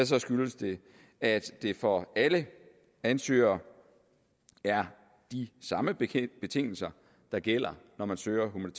så skyldes det at det for alle ansøgere er de samme betingelser der gælder når man søger om